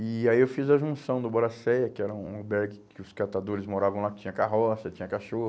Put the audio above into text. E aí eu fiz a junção do Boracéia, que era um um albergue que os catadores moravam lá, que tinha carroça, tinha cachorro.